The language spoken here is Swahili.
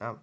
Nama.